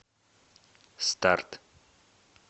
старт